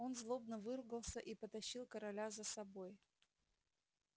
он злобно выругался и потащил короля за собой